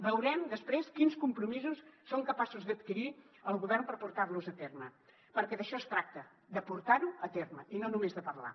veurem després quins compromisos és capaç d’adquirir el govern per portar los a terme perquè d’això es tracta de portar ho a terme i no només de parlar